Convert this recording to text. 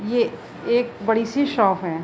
ये एक बड़ी-सी शॉप है।